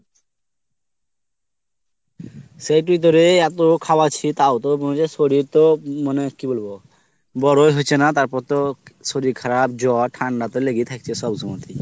সেই টি তোরে এতো খোওয়াছি তাও তো মজে শরীর তো মানে কি বলবো বড়োই হচ্ছে না, তার পর তো শরীর খারাপ জ্বর ঠান্ডা তো লেগেই থাকছে সব সমতেই।